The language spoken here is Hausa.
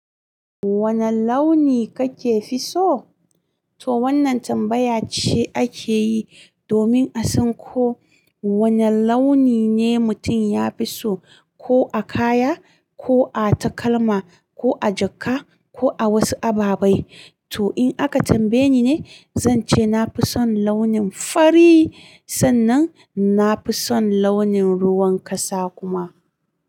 Wane launi kake fi so? To wannan tambaya ce ake yi domin a san ko wane launi ne mutum ya fi so, ko a kaya, ko a takalma, ko a jaka, ko a wasu ababai. To in aka tambaye ni ne, zan ce na fi son launin fari. Sannan na fi son launin ruwan kasa kuma.